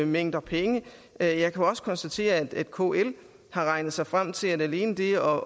mængder penge jeg jeg kan også konstatere at kl har regnet sig frem til at alene det at